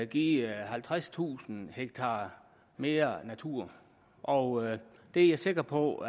give halvtredstusind ha mere natur og det er jeg sikker på